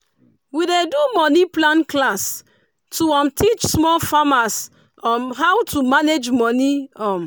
we dey do money plan class to um teach small farmers um how to manage money. um